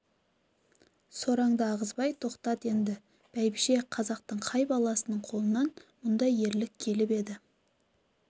сораңды ағызбай тоқтат енді бәйбіше қазақтың қай баласының қолынан мұндай ерлік келіп еді